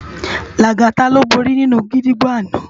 Lagata ló bóri ninú gidigbó àná